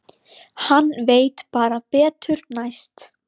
Hann veit bara betur næst.